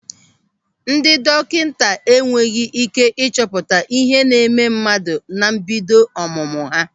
Ndị dọkịta enweghị ị́ké ịchọpụta ihe na-eme mmadụ na mbido ọmụmụ ha.